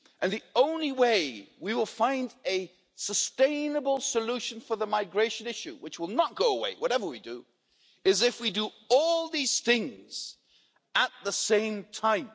The only way we will find a sustainable solution for the migration issue which will not go away, whatever we do is if we do all these things at the same time.